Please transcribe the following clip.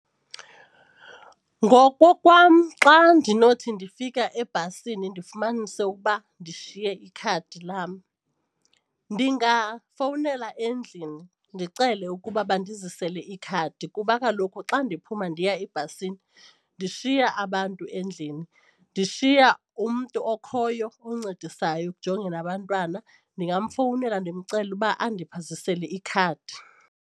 Ngokokwam xa ndinothi ndifika ebhasini ndifumanise ukuba ndishiye ikhadi lam ndingafowunela endlini ndicele ukuba bandizisele ikhadi kuba kaloku xa ndiphuma ndiya ebhasini ndishiya abantu endlini, ndishiya umntu okhoyo oncedisayo ekujongeni abantwana ndingamfowunela ndimcele uba andiphathisele ikhadi.